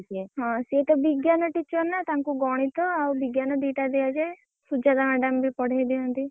ହଁ ସେ ତ ବିଜ୍ଞାନ teacher ନା ତାଙ୍କୁ ଗଣିତ ଆଉ ବିଜ୍ଞାନ ଦି ଟା ଦିଆ ଯାଏ ଆଉ ସୁଜାତା madam ବି ପଢେଇ ଦିଅନ୍ତି।